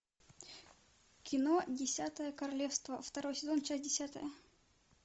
кино десятое королевство второй сезон часть десятая